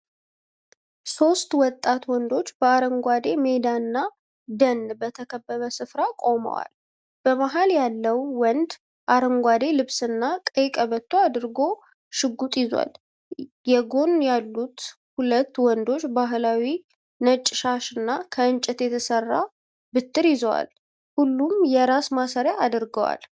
ሦስት ወጣት ወንዶች በአረንጓዴ ሜዳና ደን በተከበበ ስፍራ ቆመዋል። በመሃል ያለው ወንድ አረንጓዴ ልብስና ቀይ ቀበቶ አድርጎ ሽጉጥ ይዟል። የጎን ያሉት ሁለት ወንዶች ባህላዊ ነጭ ሻሽና ከእንጨት የተሰራ በትር ይዘዋል። ሁሉም የራስ ማሰሪያ አድርገዋል።